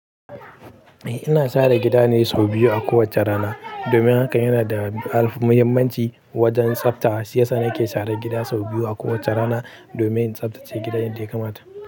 Eh, ina share gida ne sau biyu a kowace rana. Domin haka yana da alfan- muhimmanci wajen tsafta. Shiya sani ke sharar gida sau biyu a kowace rana domin ya tsaftace gidan yadda ya kamata.